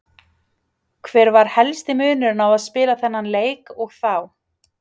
Hver var helsti munurinn á að spila þennan leik og þá?